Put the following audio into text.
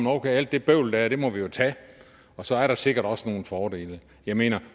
okay det bøvl der er må vi jo tage og så er der sikkert også nogle fordele jeg mener at